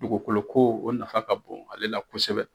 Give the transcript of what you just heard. Dugukoloko o nafa ka bon ale la kosɛbɛ.